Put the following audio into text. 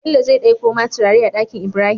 Bello zai ɗakko ma turare a Ɗakinibrahim